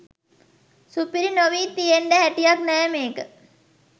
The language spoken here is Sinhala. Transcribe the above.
සුපිරි නොවී තියෙන්ඩ හැටියක් නෑ මේක.